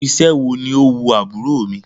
Irú iṣẹ́ wo ni ó wu àbúrò mi?